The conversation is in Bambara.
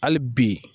Hali bi